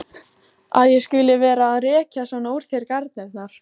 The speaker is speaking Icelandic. Að ég skuli vera að rekja svona úr þér garnirnar!